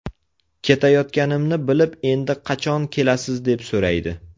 Ketayotganimni bilib endi qachon kelasiz deb so‘raydi.